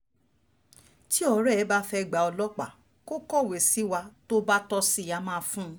tí ọ̀rẹ́ ẹ bá fẹ́ẹ́ gba ọlọ́pàá kó kọ̀wé sí wa tó bá tọ́ sí i á máa fún un